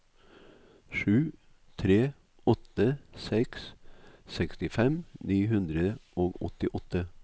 sju tre åtte seks sekstifem ni hundre og åttiåtte